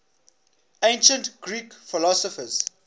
ancient greek philosophers